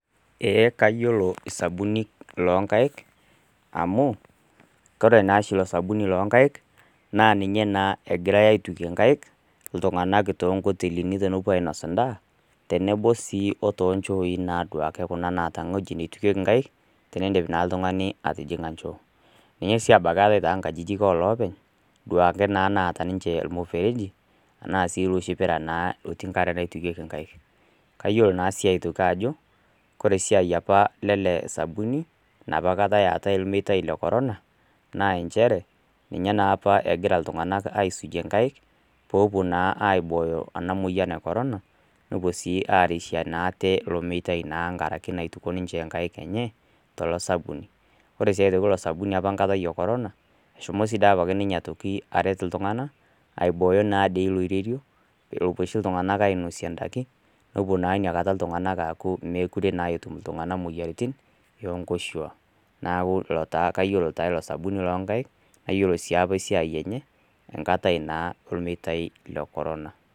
Kayolo ajo sabunik loo inkaik amuu kore naashiilo sabunik lo inkaik naa ninye naa egirai aitukie inkaik iltunganak too nkoitelini tenepo ainos indaa tenebo sii o too inchoii duake kuna naata weji naitukeki inkaik teniindip naa ltungani atijing'a inchoo, ninye sii abaki eatae too inkajijik o loopeny duake naa naata ninche olmuefereji anaa sii loshi irpira naa otii inkare naitukeki inkaik. Kayolo naa sii aitoki ajo, kore siai apa le ale sabunik, napa kata eatae ilmitai le korona, naa inchere ninye naapa egira iltunganak aisukie inkaik, poopo naa aibooyo ena moyian e korona, nepuo sii arishe naa ate ale ilmitai naa mlngaraki naituko ninche inkaik enye tolo sabuni. Ore aii aitoki ilo sabuni apa nkatai ekorona, eshomi si dei apake nimye aitoki aret iltungana aibooyo naa dei loirerio lopo oshi iltunganak ainosie indaki, nepuo naa inakata iltunganak aaku mekure naa etum iltungana moyiaritin enkoshua, naaku ilo taa kayolo taa ilo sabuni loo inkaik, nayiolo si apa esiai enye, enkatai naa ilmitai le korona.